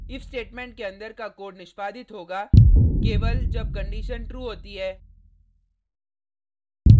if statement के अंदर का कोड निष्पादित होगा केवल जब कंडिशन true होती है